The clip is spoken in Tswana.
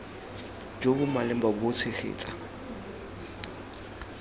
jo bo maleba bo tshegetsa